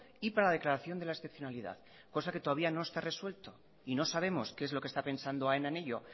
y para la declaración de la excepcionalidad cosa que todavía no está resuelta y no sabemos qué es lo que está pensando aena en ello